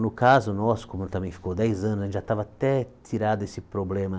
No caso nosso, como ele também ficou dez anos, já estava até tirado esse problema.